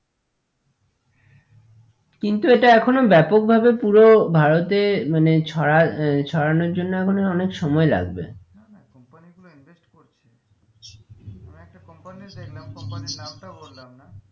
কিন্তু এটা এখনো ব্যাপক ভাবে পুরো ভারতে মানে ছড়া আহ ছাড়ানোর জন্য এখনো অনেক সময় লাগবে না না company গুলো invest করছে দু একটা company দেখলাম company এর নামটা বললাম না,